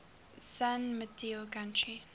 san mateo county